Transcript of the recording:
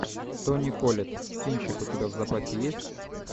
тони коллетт кинчик у тебя в запасе есть